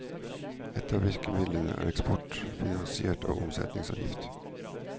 Et av virkemidlene er eksport, finansiert av omsetningsavgift.